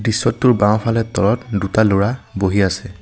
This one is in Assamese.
দৃশ্যটোৰ বাওঁফালে তলত দুটা ল'ৰা বহি আছে।